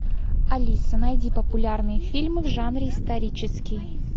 алиса найди популярные фильмы в жанре исторический